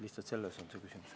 Lihtsalt selles on küsimus.